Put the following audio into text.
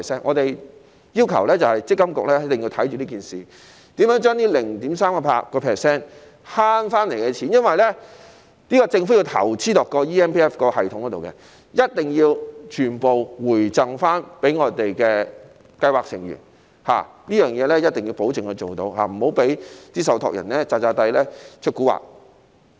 我們要求積金局一定要監察這方面，如何將這 0.38% 節省回來的錢——因為政府要就建立 eMPF 系統作出投資——一定要全部回贈予計劃成員，一定要保證能做到此事，不要讓受託人"詐詐諦出蠱惑"。